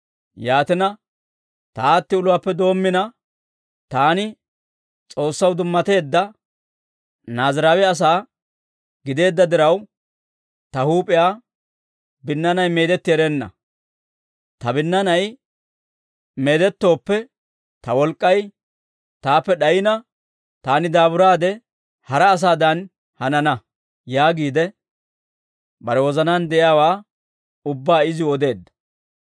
Yaatina, «Ta aati uluwaappe doommina, taani S'oossaw dummateedda Naaziraawe asaa gideedda diraw, ta huup'iyaa binnaanay meedetti erenna. Ta binnaanay meedettooppe, ta wolk'k'ay taappe d'ayina, taani daaburaade, hara asaadan hanana» yaagiide, bare wozanaan de'iyaawaa ubbaa iziw odeedda.